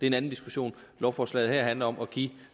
en anden diskussion lovforslaget her handler om at give